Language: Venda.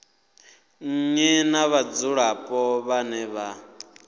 nnyi na vhadzulapo vhane vha